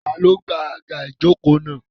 Tani ó gba àga ìjókòó náà?